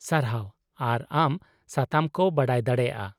ᱥᱟᱨᱦᱟᱣ, ᱟᱨ ᱟᱢ ᱥᱟᱛᱟᱢ ᱠᱚ ᱵᱟᱰᱟᱭ ᱫᱟᱲᱮᱭᱟᱜᱼᱟ ᱾